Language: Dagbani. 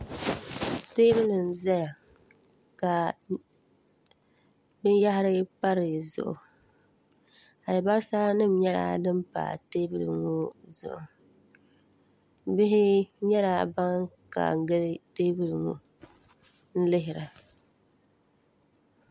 teebuli n-zaya ka binyahiri pa di zuɣu alibalisanima nyɛla din pa teebuli ŋɔ zuɣu bihi nyɛla ban kaai n-gili teebuli ŋɔ n-lihira